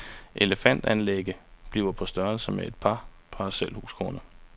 Elefant-anlægget bliver på størrelse med et par parcelhusgrunde.